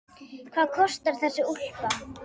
Hvað kostar þessi úlpa?